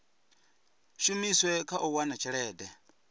shumiswe kha u wana tshelede